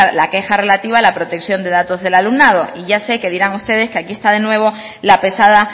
la queja relativa a la protección de datos del alumnado y ya sé que dirán ustedes que aquí está de nuevo la pesada